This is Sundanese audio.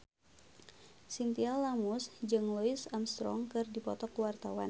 Chintya Lamusu jeung Louis Armstrong keur dipoto ku wartawan